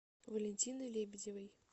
валентиной лебедевой